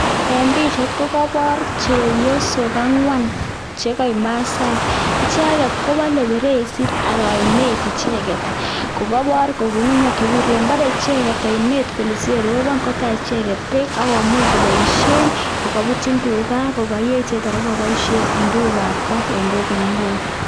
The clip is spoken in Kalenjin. Eng pichait kokepoor chepyosok angwan chekaek masaek, icheket kowale feresit anan ainet icheket kokaipor ngungunyek che wire, balei icheket ainet kole siyeropon kotach icheket beek akomuch kopoishen kokaputiin tuga, kokayee chito nekapoishen eng tugukab kot eng koikeny ak koikeny.